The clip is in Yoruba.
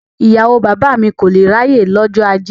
Ìyàwó bàbá mi kò lé ráyè lọ́jọ́ ajé.